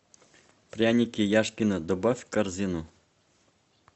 пряники яшкино добавь в корзину